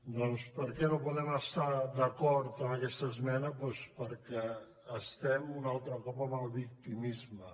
doncs per què no po·dem estar d’acord amb aquesta esmena doncs per·què estem un altre cop amb el victimisme